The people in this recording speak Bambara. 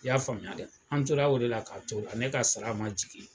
I y'a faamuya dɛ, an tora o de la k'a to la , ne ka sara ma jigin